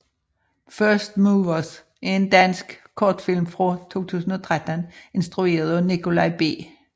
First Movers er en dansk kortfilm fra 2013 instrueret af Nikolaj B